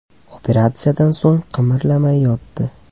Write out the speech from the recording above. Operatsiyadan so‘ng qimirlamay yotdi.